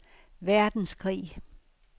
verdenskrig